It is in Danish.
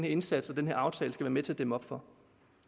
indsats og den her aftale skal være med til at dæmme op for